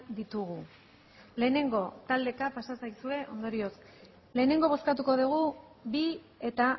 ditugu lehenengo taldeka pasa zaizue ondorioz lehenengo bozkatuko dugu bi eta